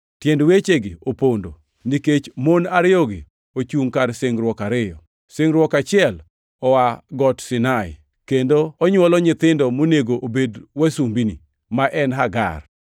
Tiend wechegi opondo, nikech mon ariyogi ochungʼ kar singruok ariyo. Singruok achiel oa Got Sinai, kendo onywolo nyithindo monego obed wasumbini: Ma en Hagar.